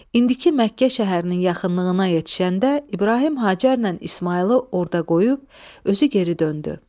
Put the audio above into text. İndiki Məkkə şəhərinin yaxınlığına yetişəndə İbrahim Hacərlə İsmayılı orda qoyub özü geri döndü.